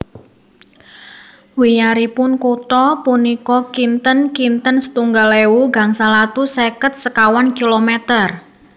Wiyaripun kutha punika kinten kinten setunggal ewu gangsal atus seket sekawan kilometer